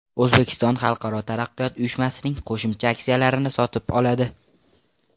O‘zbekiston Xalqaro taraqqiyot uyushmasining qo‘shimcha aksiyalarini sotib oladi.